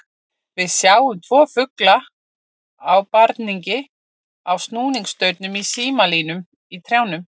Við sjáum tvo fugla í barningi á snúrustaurum, í símalínum, í trjánum.